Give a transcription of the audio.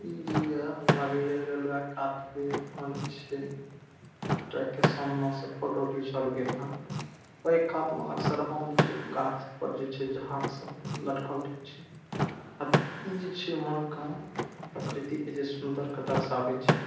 ई जी आ लागइ ये रेलवे छे। ट्रैक के सामने आउ सब फोटो घिचल गेल ह। ओ एकाद मा अक्सर होन छे गाछ पड़ जाए छे झाड़ सब लटकल रहे छे। अ ई जे छे मन का प्रकृति के जे छे सुन्दर के दर्शावे छे।